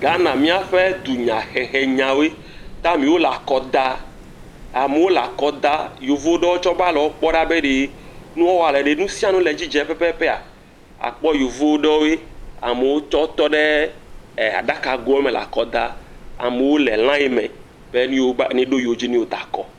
Ghana míaƒe dunya hehe nyawoe, taim ya wole akɔ da, amewo le akɔ da, yevuwo tsɛ va le wo kpɔm ɖa be ɖe, nua wɔa wole ɖe nu sia nu le edzi dzem pɛpɛpɛa, àkpɔ yevu aɖewoe, amewon tsɛ tɔ ɖe aɖagoɔ me le akɔ da. Amewo le lain me be neɖo yewo dzi ne yewoada kɔ.